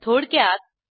थोडक्यात